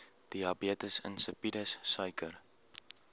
diabetes insipidus suiker